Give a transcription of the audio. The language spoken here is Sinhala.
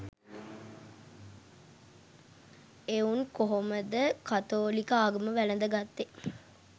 එවුන් කොහොමද කතෝලික ආගම වැලද ගත්තේ